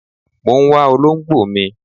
Mọ ń wá olóǹgbò mi.